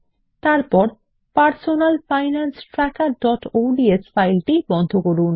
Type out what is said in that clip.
তারপর personal finance trackerঅডস বন্ধ করুন